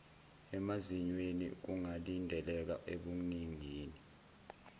emazinyweni kungalindeleka ebuningini